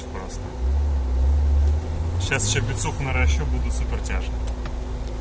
сейчас ещё бицуху наращу буду супер тяж